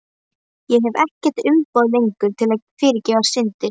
Ég hef ekkert umboð lengur til að fyrirgefa syndir.